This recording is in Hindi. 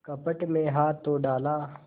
कपट में हाथ तो डाला